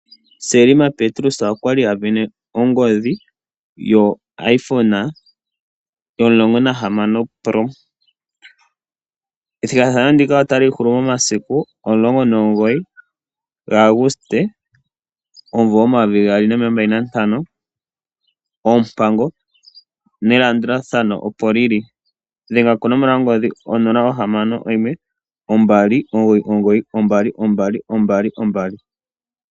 Selma Petrus okwali a vene ongodhi yoIphone yo16 pro. Ethigathano ndika otali hulu momasiku omulongo nomugoyi gaAguste 2025, oompango nelandulathano opo lili. Dhenga konomola yongodhi 0612992222.